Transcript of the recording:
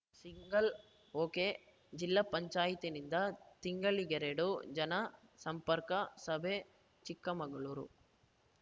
single ಒಕೆಜಿಲ್ಲಾ ಪಂಚಾಯತಿನಿಂದ ತಿಂಗಳಿಗೆರಡು ಜನ ಸಂಪರ್ಕ ಸಭೆ ಚಿಕ್ಕಮಗಳೂರು